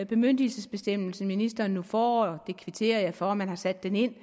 bemyndigelsesbestemmelse ministeren nu får jeg kvitterer for at man har sat den ind